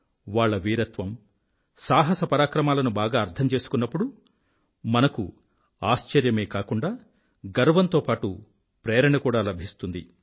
వాళ్ళ వీరత్వం సాహసపరాక్రమాలను బాగా అర్థం చేసుకున్నప్పుడు మనకు ఆశ్చర్యమే కాకుండా గర్వంతో పాటూ ప్రేరణ కూడా లభిస్తుంది